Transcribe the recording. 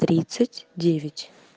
тридцать девять